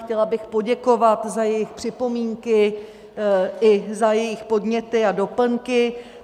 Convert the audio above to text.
Chtěla bych poděkovat za jejich připomínky i za jejich podněty a doplňky.